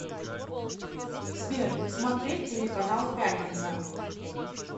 сбер смотреть телеканал пятница